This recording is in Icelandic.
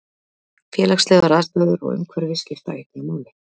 Félagslegar aðstæður og umhverfi skipta einnig máli.